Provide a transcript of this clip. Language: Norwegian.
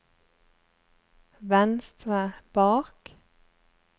venstre bak